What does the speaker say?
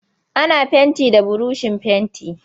Yana fenti da burushin fenti.